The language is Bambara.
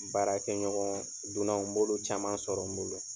Baarakɛɲɔgɔn dunan? n bolo caman sɔrɔ n bolo.